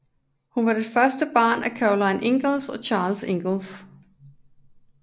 Hun var det første barn af Caroline Ingalls og Charles Ingalls